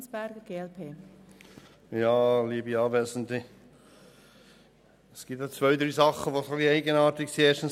Es gibt zwei, drei Dinge, die etwas eigenartig sind.